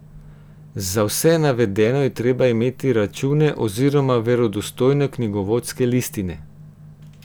Za vse navedeno je treba imeti račune oziroma verodostojne knjigovodske listine.